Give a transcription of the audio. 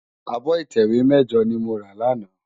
Ábò itèwé mèjò ni mó rá làná